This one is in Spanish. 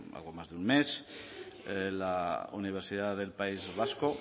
hace algo más de un mes la universidad del país vasco